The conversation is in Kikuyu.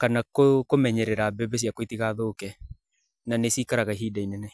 kana kũmenyerera mbembe ciakwa itigathũke na nĩ cikaraga ihinda inene.